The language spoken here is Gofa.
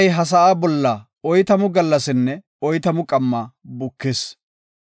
Iray ha sa7aa bolla oytamu gallasinne oytamu qamma bukis.